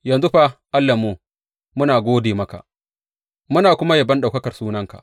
Yanzu fa, Allahnmu, muna gode maka, muna kuma yabon ɗaukakar sunanka.